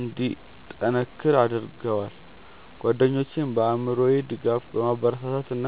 እንዲጠነክር አድርገዋል። ጓደኞቼም በአእምሮ ድጋፍ፣ በማበረታታት እና